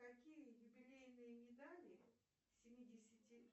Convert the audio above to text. какие юбилейные медали семидесяти